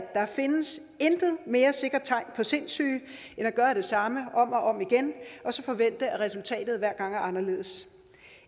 der findes intet mere sikkert tegn på sindssyge end at gøre det samme om og om igen og så forvente at resultatet hver gang er anderledes